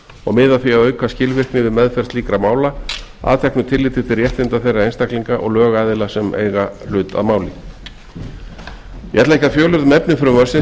og miða að því að auka skilvirkni við meðferð slíkra mála að teknu tilliti til réttinda þeirra einstaklinga og lögaðila sem eiga í hlut ég ætla ekki að fjölyrða um efni frumvarpsins